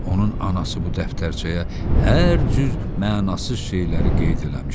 Onun anası bu dəftərçəyə hər cür mənasız şeyləri qeyd eləmişdi.